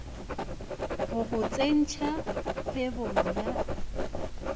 go go tsentšha kgwebong ya